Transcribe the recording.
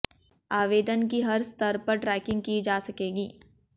आवेदन की हर स्तर पर ट्रेकिंग की जा सकेगी